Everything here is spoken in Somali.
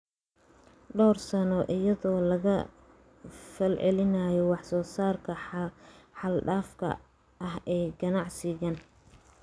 dhowr sano, iyadoo laga falcelinayo wax soo saarka xad dhaafka ah ee ganacsigan.